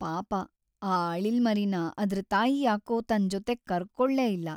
ಪಾಪ ಆ ಅಳಿಲ್ಮರಿನ ಅದ್ರ್ ತಾಯಿ ಯಾಕೋ ತನ್ ಜೊತೆಗ್ ಕರ್ಕೊಳ್ಲೇ ಇಲ್ಲ.